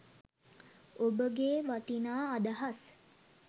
ඔබගේ වටිනා අදහස්